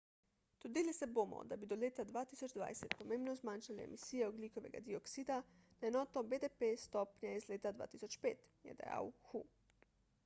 trudili se bomo da bi do leta 2020 pomembno zmanjšali emisije ogljikovega dioksida na enoto bdp s stopnje iz leta 2005 je dejal hu